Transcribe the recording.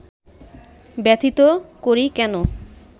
ব্যথিত করি কেন